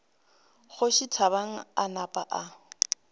kgoši thabang a napa a